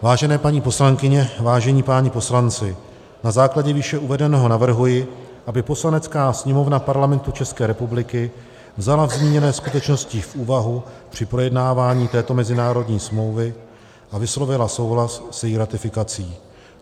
Vážené paní poslankyně, vážení páni poslanci, na základě výše uvedeného navrhuji, aby Poslanecká sněmovna Parlamentu České republiky vzala zmíněné skutečnosti v úvahu při projednávání této mezinárodní smlouvy a vyslovila souhlas s její ratifikací.